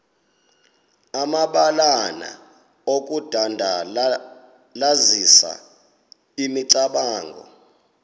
amabalana okudandalazisa imicamango